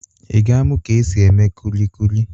Ị ga-amụ ka e si eme kulikuli?